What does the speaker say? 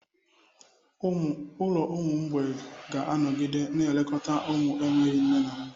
Ụlọ ụmụ mgbei ga-anọgide na-elekọta ụmụaka na-enweghị nne na nna.